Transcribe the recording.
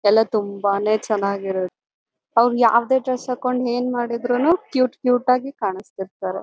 ಎಲ್ಲ ತುಂಬಾನೇ ಚೆನ್ನಾಗಿರೋದು ಅವ್ರು ಯಾವುದೇ ಡ್ರೆಸ್ ಹಾಕೊಂಡು ಏನು ಮಾಡಿದ್ರುನು ಕ್ಯೂಟ್ ಕ್ಯೂಟ್ ಆಗಿ ಕಾಣಿಸ್ತಿರ್ತಾರೆ.